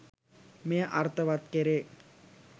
මෙය අර්ථවත් කෙරේ.